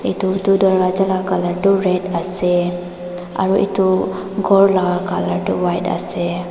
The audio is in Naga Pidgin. Door tuh dworja la colour tuh red ase aro etu ghor laga colour tuh white ase.